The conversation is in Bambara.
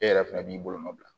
E yɛrɛ fɛnɛ b'i bolonɔ bila